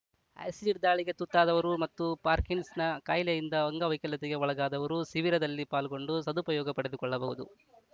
acid ದಾಳಿಗೆ ತುತ್ತಾದವರು ಮತ್ತು ಪಾರ್ಕಿನ್ಸನ್‌ ಕಾಯಿಲೆ ಯಿಂದ ಅಂಗ ವೈಕಲ್ಯತೆಗೆ ಒಳಗಾದವರು ಶಿಬಿರದಲ್ಲಿ ಪಾಲ್ಗೊಂಡು ಸದುಪಯೋಗ ಪಡೆದುಕೊಳ್ಳಬಹುದು